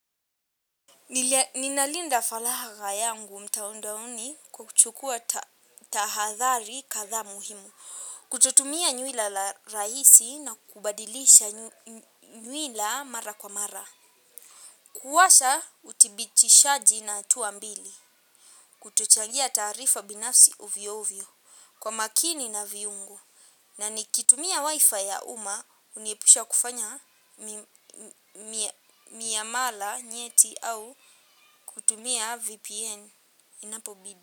Ninalinda faraga yangu mtandaoni kuchukua tahadhari kadhaa muhimu. Kututumia nywila la rahisi na kubadilisha nywila mara kwa mara. Kuwasha udhibitishaji na hatua mbili. Kutuchangia taarifa binafsi ovyo ovyo kwa makini na viungu. Na nikitumia wifi ya uma huniepusha kufanya miyamala nyeti au kutumia VPN inapobidi.